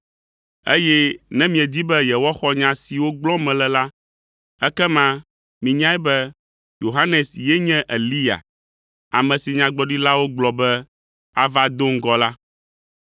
eye ne miedi be yewoaxɔ nya siwo gblɔm mele la, ekema minyae be Yohanes ye nye Eliya, ame si Nyagblɔɖilawo gblɔ be ava do ŋgɔ la.